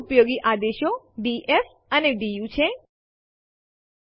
ઘણી ફાઈલો રદ કરવા માટે આપણે લખીશું આરએમ અને ઘણી ફાઈલો ના નામ જેને આપણે રદ કરવા ઈચ્છીએ છીએ